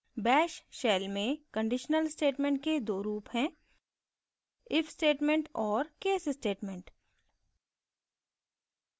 bash shell में conditional statements के दो रूप हैं if statements और case statements